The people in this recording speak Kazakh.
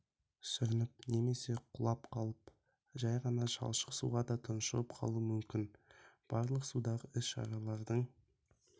сүрініп немесе құлап қалып-ақ жәй ғана шалшық суға да тұншығып қалуы мүмкін барлық судағы іс-шаралардың